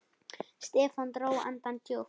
Stefán dró andann djúpt.